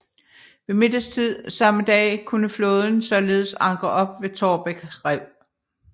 Ved middagstid samme dag kunne flåden således ankre op ved Taarbæk rev